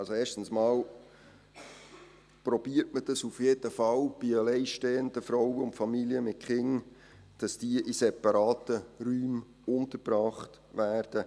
Erstens versucht man auf jeden Fall, bei alleinstehenden Frauen und Familien mit Kindern, dass diese in separaten Räumen untergebracht werden.